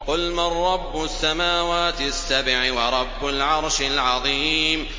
قُلْ مَن رَّبُّ السَّمَاوَاتِ السَّبْعِ وَرَبُّ الْعَرْشِ الْعَظِيمِ